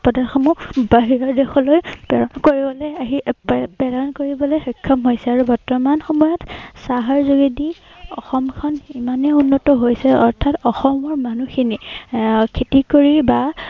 চাহপাত সমূহ বাহিৰৰ দেশলৈ প্ৰেৰণ কৰিবলৈ আহি এৰ প্ৰেৰণ কৰিবলৈ সক্ষম হৈছে আৰু বৰ্তমান সময়ত চাহৰ যোগেদি অসমখন ইমানেই উন্নত হৈছে, অৰ্থাৎ অসমৰ মানুহখিনি এৰ খেতি কৰি বা